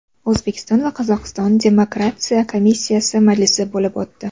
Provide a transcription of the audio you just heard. O‘zbekiston va Qozog‘iston demarkatsiya komissiyasi majlisi bo‘lib o‘tdi.